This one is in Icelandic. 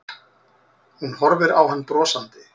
Hún horfir á hann brosandi.